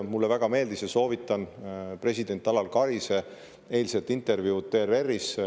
Mulle väga meeldis president Alar Karise eilne intervjuu ERR-is – soovitan seda!